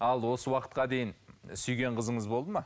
ал осы уақытқа дейін сүйген қызыңыз болды ма